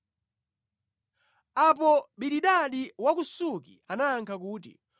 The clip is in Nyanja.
Apo Bilidadi wa ku Suki anayankha kuti,